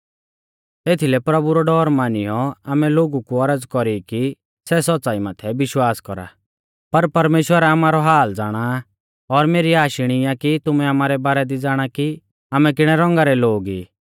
एथीलै प्रभु रौ डौर मानियौ आमै लोगु कु औरज़ कौरी कि सै सौच़्च़ाई माथै विश्वास कौरा पर परमेश्‍वर आमारौ हाल ज़ाणा आ और मेरी आश इणी आ कि तुमै आमारै बारै दी ज़ाणा कि आमै किणै रौंगा रै लोग ई